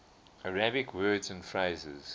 arabic words and phrases